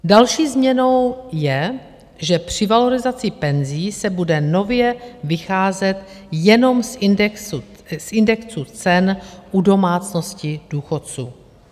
Další změnou je, že při valorizaci penzí se bude nově vycházet jenom z indexu cen u domácností důchodců.